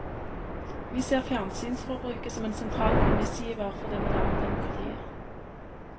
Vi ser fjernsynsforbruket som en sentral premissgiver for det moderne demokratiet.